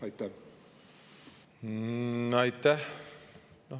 Aitäh!